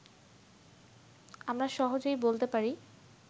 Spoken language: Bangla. আমরা সহজেই বলতে পারি